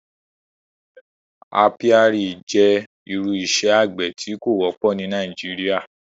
Àpíàrí jẹ́ irú ìṣẹ̀ àgbẹ̀ tó kò wọ̀pọ ni Nàìjíríà